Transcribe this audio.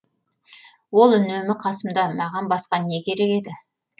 ол үнемі қасымда маған басқа не керек еді